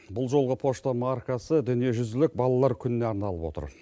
бұл жолғы пошта маркасы дүниежүзілік балалар күніне арналып отыр